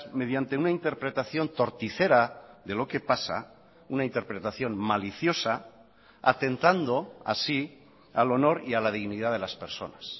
mediante una interpretación torticera de lo que pasa una interpretación maliciosa atentando así al honor y a la dignidad de las personas